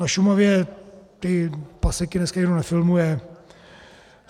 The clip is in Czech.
Na Šumavě ty paseky dneska nikdo nefilmuje.